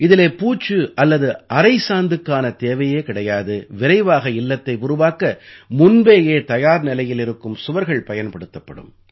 இதிலே பூச்சு அல்லது அரைசாந்துக்கான தேவையே கிடையாது விரைவாக இல்லத்தை உருவாக்க முன்பேயே தயார் நிலையில் இருக்கும் சுவர்கள் பயன்படுத்தப்படும்